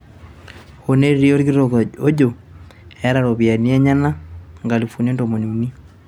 hoo netii olkitok ojo, eeta iropiyiani enyena nkalifulini ntomoni uni